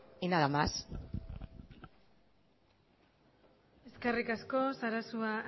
y nada más eskerrik asko sarasua